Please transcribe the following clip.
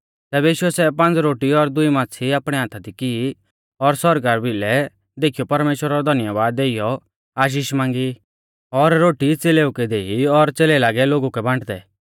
तैबै यीशुऐ सै पांज़ रोटी और दुई माच़्छ़ी आपणै हाथा दी की और सौरगा बिलै देखीयौ परमेश्‍वरा रौ धन्यबाद देइयौ आशीष मांगी और रोटी च़ेलेऊ कै देई और च़ेलै लागै लोगु कै बांटदै